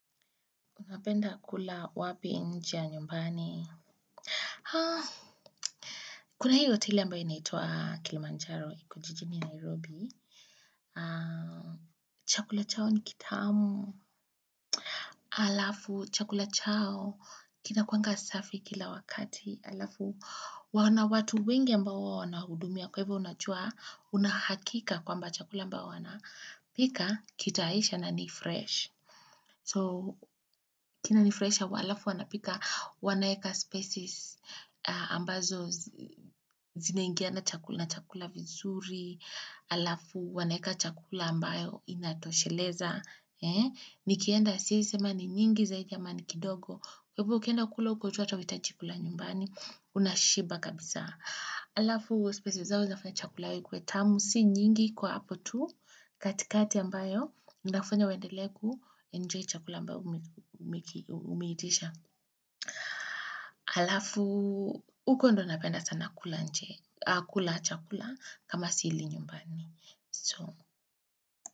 Unapenda kula wapi nje ya nyumbani? Haa, kuna hiyo hoteli ambao inaitwa Kilimanjaro, iko jijini Nairobi. Haa, chakula chao ni kitamu. Alafu, chakula chao, kinakwanga safi kila wakati. Alafu, wana watu wengi ambao huwa wanahudumia kwe a hivyo unajua, unahakika kwamba chakula ambao wanapika, kitaisha na ni fresh. So kinanifurahisha wa alafu wanapika wanayeka species ambazo zineingia na chakula na chakula vizuri, alafu wanayeka chakula ambayo inatosheleza. Nikienda siwezi sema ni nyingi zaidi ama ni kidogo. Kwa hivyo ukienda kula huko tu hata huhiitji kula chakula nyumbani, unashiba kabisa. Alafu spices zao zinafanya chakula yao ikuwe tamu si nyingi kwa hapo tu katikati ambayo inafanya uendelee kuenjoy chakula ambayo umeitisha alafu huko ndo napenda sana kula nje kula chakula kama sili nyumbani so.